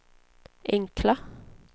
enkla